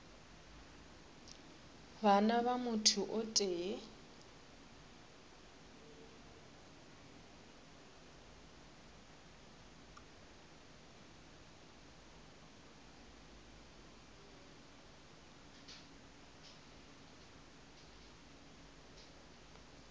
bana ba motho o tee